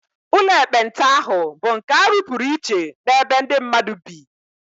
Ụlọ ekpenta ahụ bụ nke a rụpụrụ iche n'ebe ndị mmadụ bi